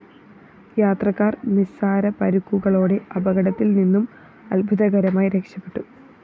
യാത്രക്കാര്‍ നിസാര പരുക്കുകളോടെ അപകടത്തില്‍ നിന്നും അത്ഭുതകരമായി രക്ഷപെട്ടു